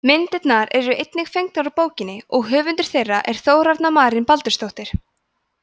myndirnar eru einnig fengnar úr bókinni og höfundur þeirra er þórarna marín baldursdóttir